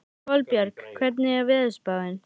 Kolbjörg, hvernig er veðurspáin?